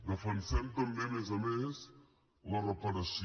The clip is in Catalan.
defensem també a més a més la reparació